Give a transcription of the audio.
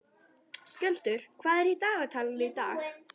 Skjöldur, hvað er í dagatalinu í dag?